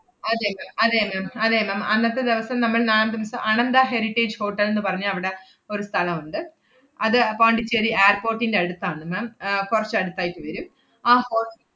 അതെ ma'am അതെ ma'am അതെ ma'am അന്നത്തെ ദെവസം നമ്മൾ നാദംസ് അണന്ത ഹെറിറ്റേജ് ഹോട്ടൽ ~ന്ന് പറഞ്ഞ അവടെ ഒരു സ്ഥലം ഒണ്ട്. അത് പോണ്ടിച്ചേരി airport ന്‍റെ അടുത്താണ് ma'am ഏർ കൊറച്ച് അടുത്തായിട്ട് വരും. ആ ho~